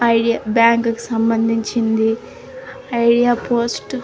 Idea బ్యాంకు కి సంబంధించింది. ఐడియా పోస్ట్ --